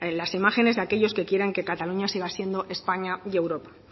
las imágenes de aquellos que quieren que cataluña siga siendo españa y europa